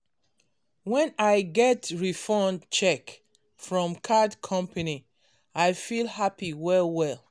when i get refund check from card company i feel happy well well